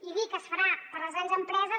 i dir que es farà per a les grans empreses